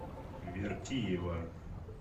вертиева